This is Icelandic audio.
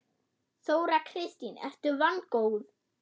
Þóra Kristín: Ertu vongóð?